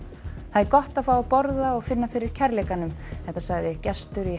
það er gott að fá að borða og finna fyrir kærleikanum segir gestur í